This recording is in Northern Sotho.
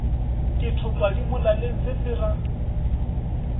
ke thopadimolaleng se se ra